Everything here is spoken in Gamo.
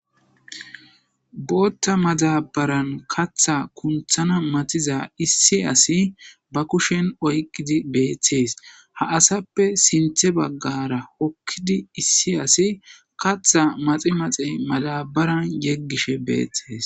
Bootta madabaran katha kunthana matiza issi asi ba kushen oyqidi beethtees ha asappe sinthe baggara okkidi issi asi katha maxi maxe madabaran yeggishe beethtees.